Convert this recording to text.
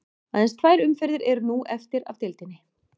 Aðeins tvær umferðir eru nú eftir af deildinni.